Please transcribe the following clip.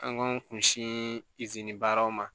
An k'an kun si izini baaraw ma